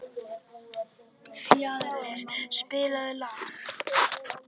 Fjalarr, spilaðu lag.